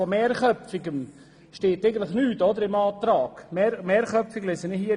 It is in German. Eigentlich lese ich im Antrag nichts von einem mehrköpfigen Ausschuss.